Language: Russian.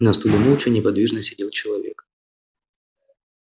на стуле молча неподвижно сидел человек